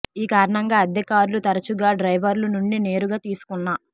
ఈ కారణంగా అద్దె కార్లు తరచుగా డ్రైవర్లు నుండి నేరుగా తీసుకున్న